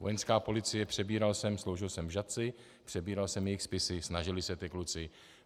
Vojenská policie - přebíral jsem, sloužil jsem v Žatci, přebíral jsem jejich spisy, snažili se ti kluci.